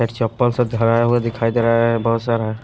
चप्पल से धराया हुआ दिखाई दे रहा है बहुत सारा है।